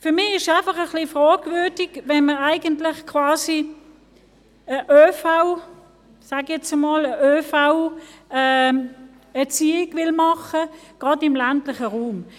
Für mich ist es einfach etwas fragwürdig, wenn man gerade im ländlichen Raum quasi eine ÖVErziehung – sage ich nun mal – machen will.